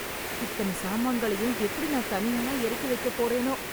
இத்தன சாமான்களையும் எப்படி நான் தனியாளா எறக்கி வைக்கப்போறேனோ...